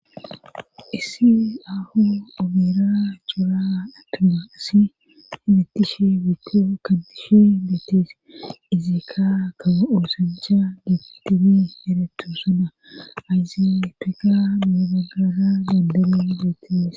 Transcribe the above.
issi aho obira jura attuma isi hibitishe bitto kaddishe bittees izeekka kara oosancha getibe erettu sana ayziyapfika mibaggara dandabe geettees